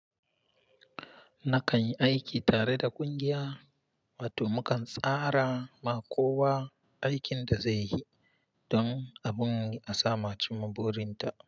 Nakan yi aiki tare da ƙungiya, wato mukan tsara ma kowa aikin da zai yi don abun a samu a cimma burin ta.